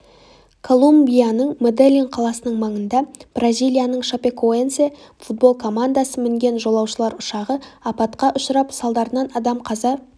колумбияның меделлин қаласының маңында бразилияның шапекоэнсе футбол командасы мінген жолаушылар ұшағы апатқа ұшырап салдарынан адам қаза